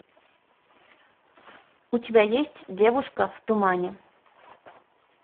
у тебя есть девушка в тумане